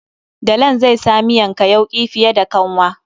Dalan zai sa miyanka yauki fiye da kanwa.